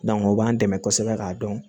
o b'an dɛmɛ kosɛbɛ k'a dɔn